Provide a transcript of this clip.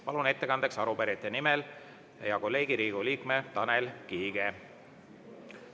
Palun ettekandeks arupärijate nimel hea kolleegi, Riigikogu liikme Tanel Kiige.